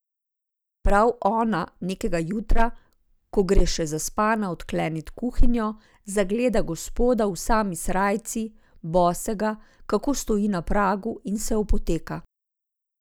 Prav ona nekega jutra, ko gre še zaspana odklenit kuhinjo, zagleda Gospoda v sami srajci, bosega, kako stoji na pragu in se opoteka.